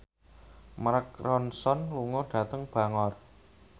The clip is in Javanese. Mark Ronson lunga dhateng Bangor